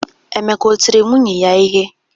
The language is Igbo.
Emeka o tiri nwunye ya ihe?